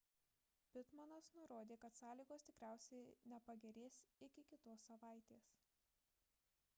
pittmanas nurodė kad sąlygos tikriausiai nepagerės iki kitos savaitės